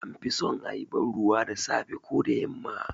An fi so a yi banruwa da safe ko da yamma